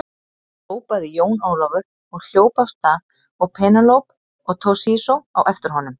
Hrópaði Jón Ólafur og hljóp af stað og Penélope og Toshizo á eftir honum.